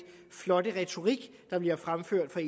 flotte retorik der bliver fremført af